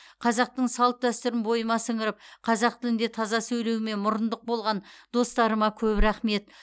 қазақтың салт дәстүрін бойыма сіңіріп қазақ тілінде таза сөйлеуіме мұрындық болған достарыма көп рахмет